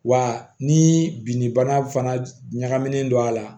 Wa ni bin bana ɲagaminen don a la